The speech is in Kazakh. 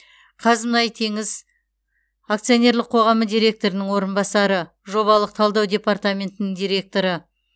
қазмұнайтеңіз акционерлік қоғамы директорының орынбасары жобалық талдау департаментінің директоры